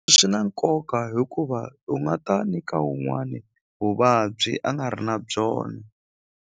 Swi na nkoka hikuva u nga ta nyika wun'wani vuvabyi a nga ri na byona.